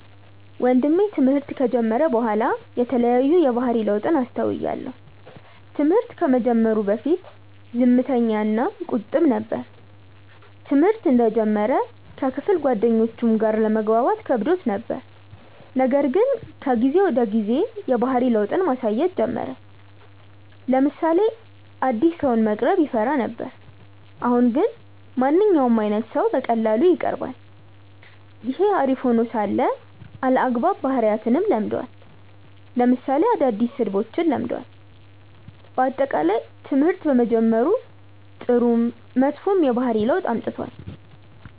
ወንድሜ ትምህርት ከጀመረ በኋላ የተለያዩ የባህሪ ለውጥን አስተውያለው። ትምህርት ከመጀመሩ በፊት ዝምተኛ እና ቁጥብ ነበር። ትምህርተ እንደጀመረ ከክፍል ጓደኞቹም ጋር ለመግባባት ከብዶት ነበር :ነገር ግን ከጊዜ ወደ ጊዜ የባህሪ ለውጥን ማሳየት ጀመረ : ለምሳሌ አዲስ ሰውን መቅረብ ይፈራ ነበር አሁን ግን ማንኛውም አይነት ሰው በቀላሉ ይቀርባል። ይህ አሪፍ ሄኖ ሳለ አልአግባብ ባህሪያትንም ለምዷል ለምሳሌ አዳዲስ ስድቦችን ለምዷል። በአጠቃላይ ትምህርት በመጀመሩ ጥሩም መጥፎም የባህሪ ለውጥ አምጥቷል።